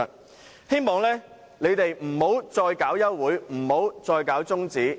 我希望他們不要再提出休會辯論和中止待續議案，